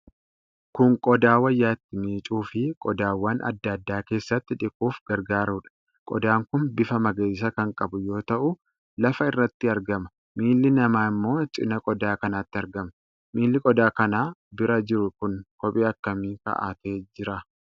Kun qodaa wayyaa itti miicuu fi qodaawwan adda addaa keessatti dhiquuf gargaarudha. Qodaan kun bifa magariisa kan qabu yoo ta'u, lafa irratti argama. Miilli namaa ammoo cinaa qodaa kanatti argama. Miilli qodaa kana bira jiru kun kophee akkamii kaa'atee jira?